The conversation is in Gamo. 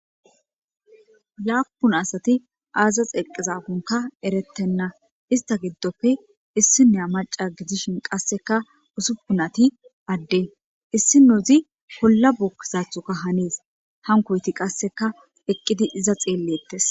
laapun asati aazax eqezafonka erettenna ista giddofe issinea maca gidishin qasseka usuppunati adde issinuzi polla bukizathoka hanis hankoyti qasseka eqqidi iza xeellettes